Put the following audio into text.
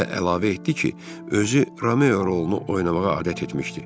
Və əlavə etdi ki, özü Romeo rolunu oynamağa adət etmişdi.